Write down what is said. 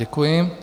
Děkuji.